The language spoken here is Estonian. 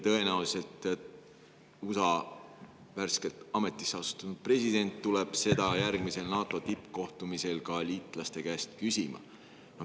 Tõenäoliselt tuleb USA värskelt ametisse astunud president seda järgmisel NATO tippkohtumisel liitlaste käest küsima.